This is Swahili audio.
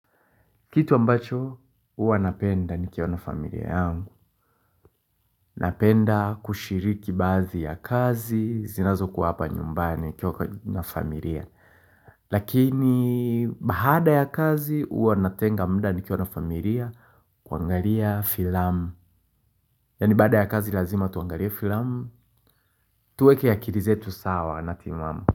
Kitu ambacho huwa napenda nikiona familia yangu Napenda kushiriki bazi ya kazi zinazo kuwa hapa nyumbani nikiwa na familia Lakini baada ya kazi huwa natenga mda nikiwa na familia kuangalia filamu Yani baada ya kazi lazima tuangalie filamu Tueke akili zetu sawa na timamu.